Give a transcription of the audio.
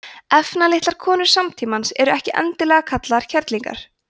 efnalitlar konur samtímans eru ekki endilega kallaðar kerlingar